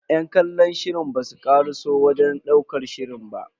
Yan kallon shirin basu karaso wajen ɗaukar shirin ba.